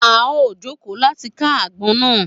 A o joko láti kà agbọn na